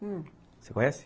Hum, você conhece?